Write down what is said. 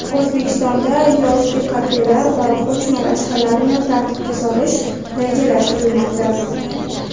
O‘zbekistonda yozgi kafelar va ko‘chma rastalarni tartibga solish rejalashtirilmoqda.